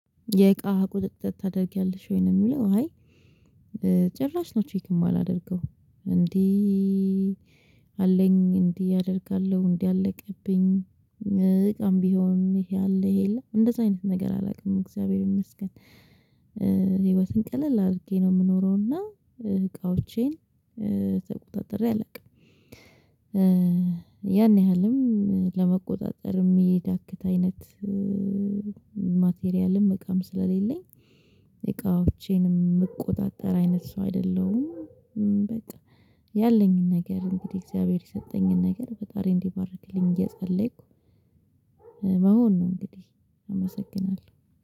የእቃ ቁጥጥር ታደርጊያለሽ ወይ ነው? የሚለው አይ ጭራሽ ነው ቼክ የማላደርገው እንዲ አለኝ እንዲህ አደርጋለሁ እንዲህ አለቀብኝ። እቃም ቢሆን ይሄ አለ ይሄ የለም እንደዛ አይነት ነገር አላውቅም እግዚአብሔር ይመስገን። ህይወትን ቀለል አድርጌ ነው የምኖረው እና እቃዎቼን ተቆጣጥሬ አላውቅም። ያን ያህልም ለመቆጣጠር የሚዳግት አይነት ማቴሪያልም እቃም ስለሌለኝ እቃዎቼንም እምቆጣጠር አይነት ሰው አይደለሁም። በቃ ያለኝን ነገር እንግዲህ እግዚአብሔር የሰጠኝን ነገር ፈጣሪ እንዲባርክልኝ እየጸለይኩ መሆን ነው። እንግዲህ አመሰግናለሁ